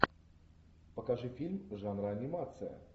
покажи фильм жанра анимация